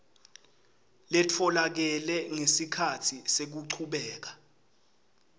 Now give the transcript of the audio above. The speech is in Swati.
letfolakele ngesikhatsi sekuchubeka